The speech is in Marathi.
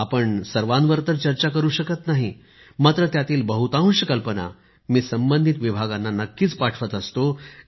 आपण सर्वांवर तर चर्चा करु शकत नाही मात्र त्यातील बहुतांश कल्पना मी संबंधित विभागांना नक्कीच पाठवत असतो